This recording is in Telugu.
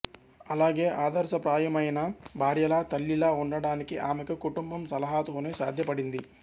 అలాగే ఆదర్శప్రాయమైన భార్యలా తల్లిలా ఉండడానికి ఆమెకు కుటుంబం సలహాలతోనే సాధ్యపడింది